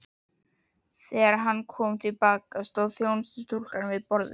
Þegar hann kom til baka, stóð þjónustustúlka við borðið.